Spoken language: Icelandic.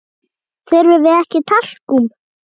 Þurfum við ekki talkúm?